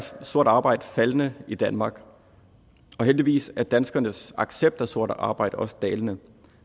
sort arbejde faldende i danmark og heldigvis er danskernes accept af sort arbejde også dalende